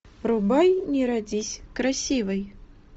врубай не родись красивой